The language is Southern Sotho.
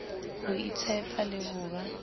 ho itshepa le ho ba